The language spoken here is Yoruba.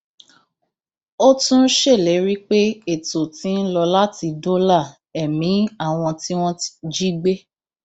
ó tún ṣèlérí pé ètò ti ń lọ láti dóòlà ẹmí àwọn tí wọn jí gbé